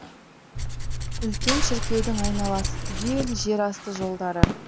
үлкен шіркеудің айналасы түгел жер асты жолдары